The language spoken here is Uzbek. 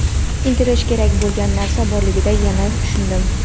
intilish kerak bo‘lgan narsa borligini yana tushundim.